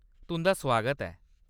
तुंʼदा सुआगत ऐ।